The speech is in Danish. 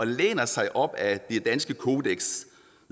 læner sig op ad det danske kodeks